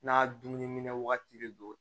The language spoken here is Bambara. N'a dumuni wagati de don